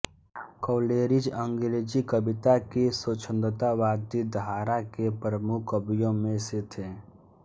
Coleridge अंग्रेजी कविता की स्वच्छंदतावादी धारा के प्रमुख कवियों में से थे